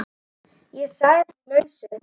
Ég sagði því lausu.